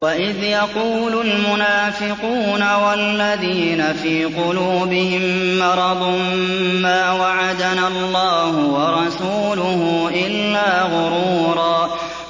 وَإِذْ يَقُولُ الْمُنَافِقُونَ وَالَّذِينَ فِي قُلُوبِهِم مَّرَضٌ مَّا وَعَدَنَا اللَّهُ وَرَسُولُهُ إِلَّا غُرُورًا